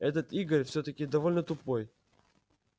этот игорь всё-таки довольно тупой